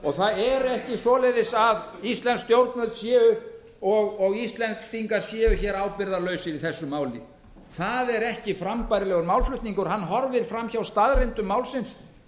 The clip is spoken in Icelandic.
og það er ekki svoleiðis að íslensk stjórnvöld séu og íslendingar séu ábyrgðarlausir í þessu máli það er ekki frambærilegur málflutningur hann horfir fram hjá staðreyndum málsins